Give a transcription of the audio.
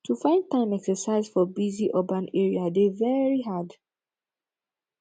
to find time exercise for busy urban area dey very hard